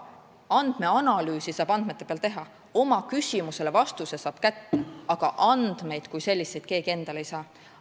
Andmeanalüüsi saab andmete peal teha, oma küsimusele saab vastuse kätte, aga andmeid kui selliseid keegi endale ei saa.